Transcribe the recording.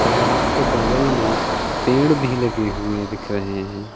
तालाब के बगल में पेड़ भी लगें हुए दिख रहे हैं।